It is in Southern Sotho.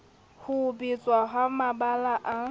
ho betlwa ha mabala a